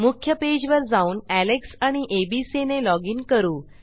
मुख्य पेजवर जाऊन एलेक्स आणि एबीसी ने लॉजिन करू